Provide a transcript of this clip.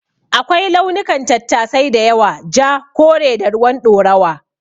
Akwai launukan tattasai da yawa; Ja, kore, da ruwan ɗorawa.